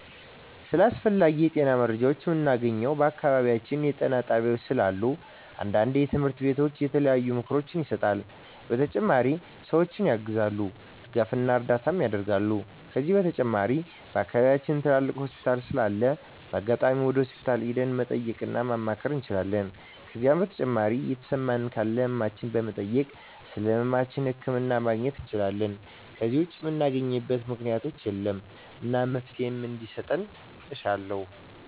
ስለ አስፈላጊ የጤና መረጃዎችን ምናገኘው በአካባቢያችን ጤና ጣቤያዎች ስላሉ አንዳንዴ ትምህርቶች እና የተለያዩ ምክሮች ይሰጣሉ በተጨማሪ ሰዎችን ያግዛሉ ድጋፍና እርዳታ ያረጋሉ ከዚህ በተጨማሪ በአከባቢያችን ትልቅ ሆስፒታል ስላለ በአጋጣሚ ወደ ሆስፒታል ሄደን መጠየቅ እና ማማከር እንችላለን ከዜ በተጨማሪ የተሰማን ካለ ህመማችን በመጠየክ ስለህመማችን ህክምና ማግኘት እንችላለን ከዜ ውጭ ምናገኝበት ምክኛት የለም እና መፍትሔ እንዲሰጥ እሻለሁ